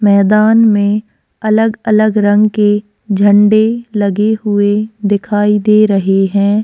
मैदान में अलग-अलग रंग के झंडे लगे हुए दिखाई दे रहे हैं।